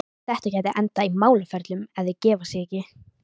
Þetta gæti endað í málaferlum, ef þeir gefa sig ekki.